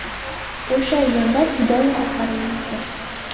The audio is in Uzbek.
O‘sha erda ‘Hidoya’ asarini yozgan.